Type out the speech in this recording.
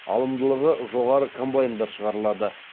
алымдылығы жоғары комбайндар шығарылады